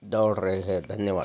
दौड़ रही है धन्यवाद --